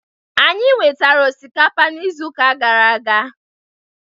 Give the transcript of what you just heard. Anyị nwetara osikapa n'izu gara aga.